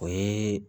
O ye